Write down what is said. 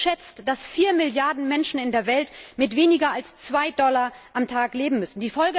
Die UN schätzt, dass 4 Milliarden Menschen in der Welt mit weniger als 2 Dollar am Tag leben müssen.